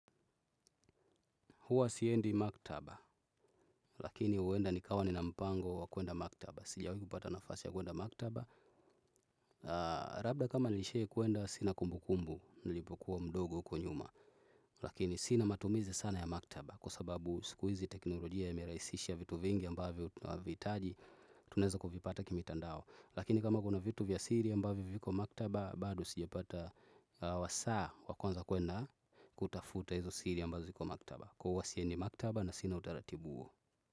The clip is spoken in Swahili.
Huwa siendi maktaba lakini huenda nikawa nina mpango wa kuenda maktaba. Sijawi kupata nafasi ya kuenda maktaba. Labda kama nishawi kuenda sina kumbukumbu, nilipokuwa mdogo uko nyuma. Lakini sina matumizi sana ya maktaba kwa sababu siku hizi teknolojia yamerahisisha vitu vingi ambavyo vitaji tunaweza kuvipata kimitandao. Lakini kama kuna vitu vya siri ambavyo viko maktaba bado sijapata wasaa wa kuweza kwenda kutafuta hizo siri ambazo ziko maktaba na huwa siendi makatba na sina utaratibu huo.